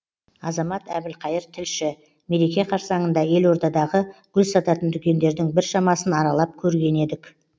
азамат әбілқайыр тілші мереке қарсаңында елордадағы гүл сататын дүкендердің біршамасын аралап көрген едік